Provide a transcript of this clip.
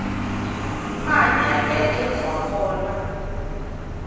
mahanyelo ya dyondziwa kona